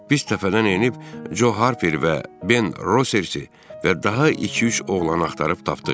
Biz təpədən enib Co Harper və Ben Rosers, və daha iki-üç oğlanı axtarıb tapdıq.